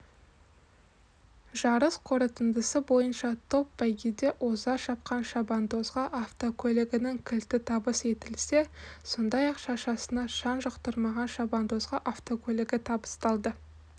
жарыс қорытындысы бойынша топ бәйгеде оза шапқан шабандозға автокөлігінің кілті табыс етілсе сондай-ақ шашасына шаң жұқтырмаған шабандозға автокөлігі табысталды